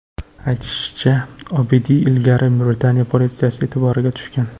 Aytilishicha, Obidiy ilgari Britaniya politsiyasi e’tiboriga tushgan.